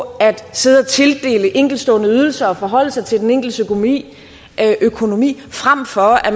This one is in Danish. sidde og tildele enkeltstående ydelser og forholde sig til den enkeltes økonomi frem for at